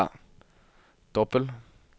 dobbel